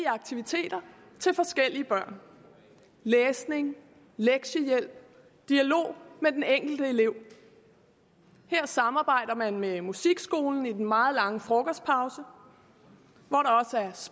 aktiviteter til forskellige børn læsning lektiehjælp dialog med den enkelte elev her samarbejder man med musikskolen i den meget lange frokostpause